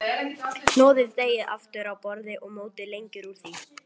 Hnoðið deigið aftur á borði og mótið lengjur úr því.